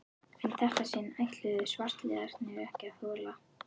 En í þetta sinn ætluðu svartliðar ekki að þola